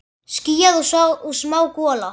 Skýjað og smá gola.